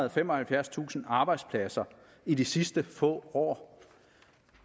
og femoghalvfjerdstusind arbejdspladser i de sidste få år